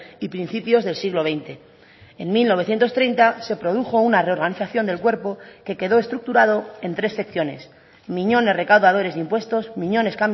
y principios del siglo veinte en mil novecientos treinta se produjo una reorganización del cuerpo que quedó estructurado en tres secciones miñones recaudadores de impuestos miñones